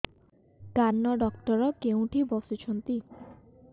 କାନ ଡକ୍ଟର କୋଉଠି ବସୁଛନ୍ତି